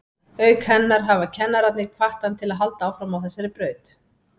Auk hennar hafa kennararnir hvatt hann til að halda áfram á þessari braut.